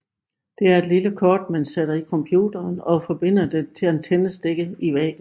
Det er et lille kort man sætter i computeren og forbinder til antennestikket i væggen